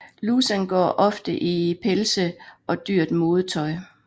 Lussan går ofte i pelse og dyrt modetøj